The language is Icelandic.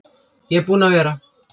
Ég er búinn að vera.